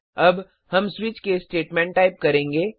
अब हम switch case statement type करेंगे